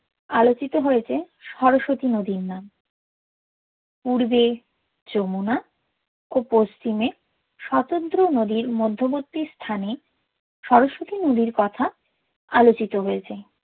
অলোকিতো হোযেছে সরস্বতী নদির নাম পুর্বে যমুনা ও পশ্চিমে স্বতন্ত্র নদির মধ্যবর্তী স্থানে সরস্বতী নদির কোথা অলোচিতো হ্য়ছে